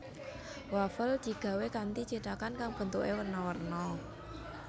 Wafel digawé kanthi cithakan kang bentuké werna werna